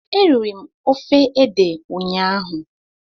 Eriri m ofe ede ụnyaahụ